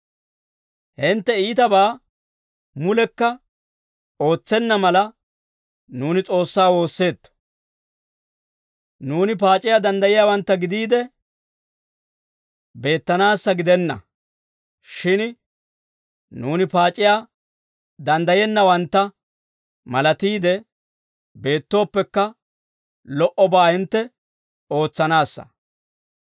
Hintte iitabaa mulekka ootsenna mala, nuuni S'oossaa woosseetto. Nuuni paac'iyaa danddayiyaawantta gidiide beettanaassa gidenna; shin nuuni paac'iyaa danddayennawantta malatiide beettooppekka, lo"obaa hintte ootsanaassa.